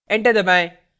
enter दबाएं